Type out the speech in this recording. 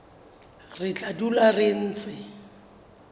re tla dula re ntse